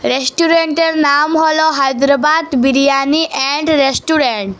রেস্টুরেন্টের নাম হল হায়দ্রাবাদ বিরিয়ানি এন্ড রেস্টুরেন্ট ।